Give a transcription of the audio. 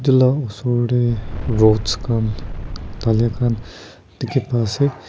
etu laga osor te rods kan dhalai kan dekhi pai ase.